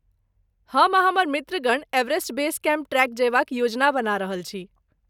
हम आ हमर मित्रगण एवरेस्ट बेस कैम्प ट्रेक जयबाक योजना बना रहल छी।